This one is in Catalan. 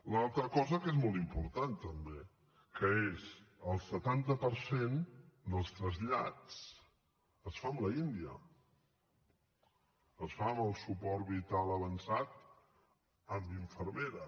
l’altra cosa que és molt important també que és el setanta per cent dels trasllats es fa amb l’india es fa amb el suport vital avançat amb infermera